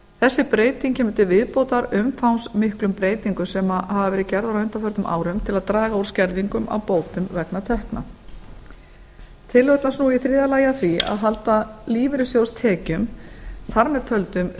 þessi breyting kemur til viðbótar umfangsmiklum breytingum sem hafa verið gerðar á undanförnum árum til að draga úr skerðingum á bótum vegna tekna tillögurnar snúa í þriðja lagi að því að halda lífeyrissjóðstekjum þar með töldum